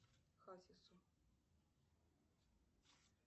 хасису